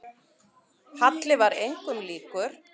Halli var engum líkur.